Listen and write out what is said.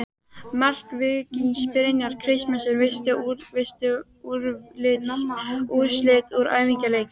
Mark Víkings: Brynjar Kristmundsson Veistu úrslit úr æfingaleikjum?